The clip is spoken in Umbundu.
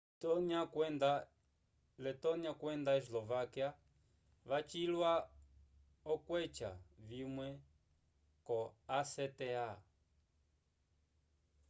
letonia kwenda eslovaquia wacilwa okweca vimwe ko acta